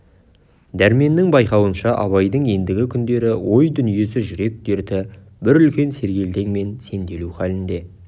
дәрменнің байқауынша абайдың ендігі күндері ой-дүниесі жүрек дерті бір үлкен сергелдең мен сенделу халінде